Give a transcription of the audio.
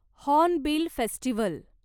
hornbill festival